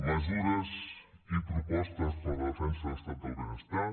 mesures i propostes per a la defensa de l’estat del benestar